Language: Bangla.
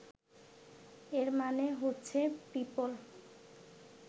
এর মানে হচ্ছে পিপল